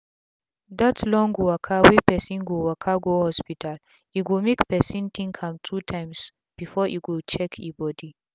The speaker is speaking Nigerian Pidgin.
dat long waka wey pesin go waka go hospital e go make pesin think am two tyms before e go check e bodi